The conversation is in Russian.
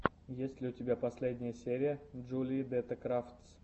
есть ли у тебя последняя серия джулии дэтта крафтс